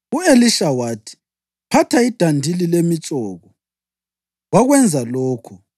U-Elisha wathi, “Thatha idandili lemitshoko.” Wakwenza lokho.